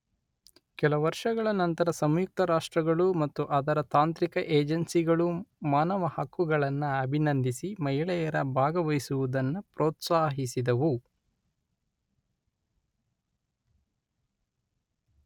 ಕೆಲ ವರ್ಷಗಳ ನಂತರ ಸಂಯುಕ್ತ ರಾಷ್ಟ್ರಗಳು ಮತ್ತು ಅದರ ತಾಂತ್ರಿಕ ಏಜೆನ್ಸಿಗಳು ಮಾನವ ಹಕ್ಕುಗಳನ್ನ ಅಬಿನಂಧಿಸಿ ಮಹಿಳೆಯರ ಭಾಗವಹಿಸುವುದನ್ನು ಪ್ರೋತ್ಸಾಹಿಸಿದವು.